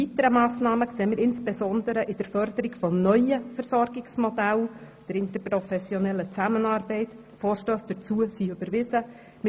Weitere Massnahmen sehen wir insbesondere in der Forderung nach neuen Versorgungsmodellen und der interprofessionellen Zusammenarbeit, wozu bereits Vorstösse überwiesen wurden.